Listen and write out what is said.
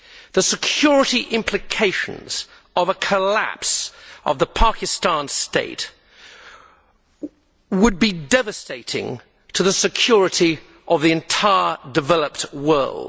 The security implications of a collapse of the Pakistan State would be devastating to the security of the entire developed world.